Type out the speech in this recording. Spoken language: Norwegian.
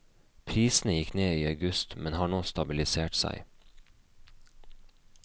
Prisene gikk ned i august, men har nå stabilisert seg.